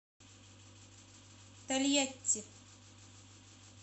тольятти